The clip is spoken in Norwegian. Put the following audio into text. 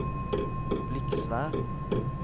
Bliksvær